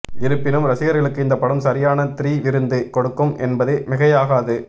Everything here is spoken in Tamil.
இருப்பினும் ரசிகர்களுக்கு இந்தப்படம் சரியான த்ரி விருந்து கொடுக்கும் என்பது மிகையாகாது